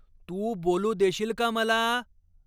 तू बोलू देशील का मला?